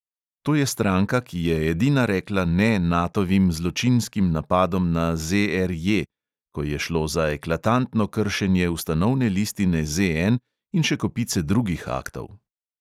To je stranka, ki je edina rekla ne natovim zločinskim napadom na ZRJ, ko je šlo za eklatantno kršenje ustanovne listine ZN in še kopice drugih aktov.